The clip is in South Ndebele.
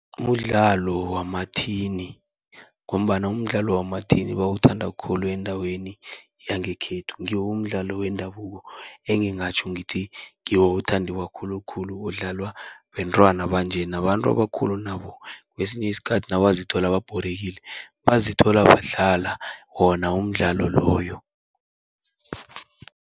Mdlalo wamathini ngombana umdlalo wamathini bawuthanda khulu endaweni yangekhethu, ngiwo umdlalo wendabuko engingatjho ngithi ngiwo othandiwa khulukhulu, odlalwa bentwana banje. Nabantu abakhulu nabo kesinye isikhathi nabazithola babhorekile, bazithola badlala wona umdlalo loyo.